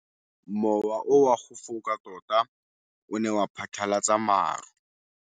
Mowa o wa go foka tota o ne wa phatlalatsa maru.